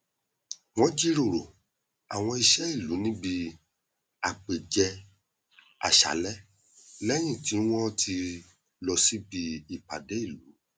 wọn jíròrò àwọn iṣẹ ìlú níbi ápèjẹàṣálẹ lẹyìn tí wọn ti lọ síbi ìpàdé ìlú